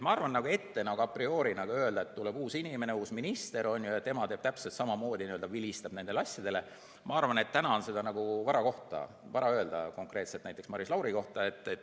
Ma arvan, et ette a priori öelda, et tuleb uus inimene, uus minister, ja tema teeb täpselt samamoodi, vilistab nendele asjadele, seda on täna vara öelda konkreetselt näiteks Maris Lauri kohta.